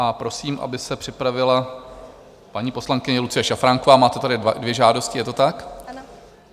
A prosím, aby se připravila - paní poslankyně Lucie Šafránková, máte tady dvě žádosti, je to tak?